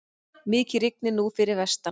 Mikið rignir nú fyrir vestan.